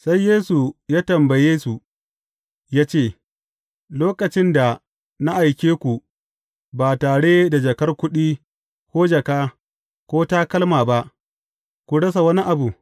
Sai Yesu ya tambaye, su ya ce, Lokacin da na aike ku ba tare da jakar kuɗi, ko jaka, ko takalma ba, kun rasa wani abu?